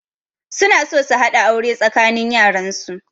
Suna so su haɗa aure tsakanin yaran su